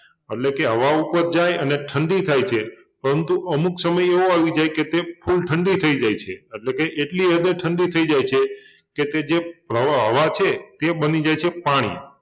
એટલે કે હવા ઉપર જાય અને ઠંડી થાય છે પરંતુ અમુક સમય એવો આવી જાય કે તે full ઠંડી થઈ જાય છે એટલે એટલી હદે ઠંડી થઈ જાય છે કે તે જે પ્રવાહ હવા છે તે બની જાય છે પાણી